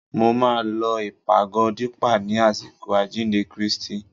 Mo máa lọ ìpàgọ́ Dípà ni àsìkò àjíǹde Kristi